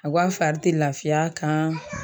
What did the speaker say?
A ko a fari te lafiya kan